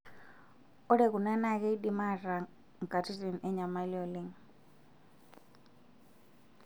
Ore kuna naa keidim ataa nkatitin enyamali oleng'.